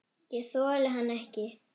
Ég þoldi hann ekki.